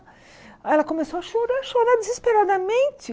Aí ela começou a chorar, chorar desesperadamente.